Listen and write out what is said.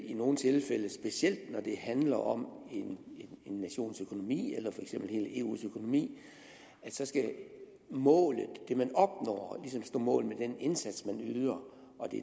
i nogle tilfælde specielt når det handler om en nations økonomi eller for eksempel hele eus økonomi skal målet det man opnår ligesom stå mål med den indsats man yder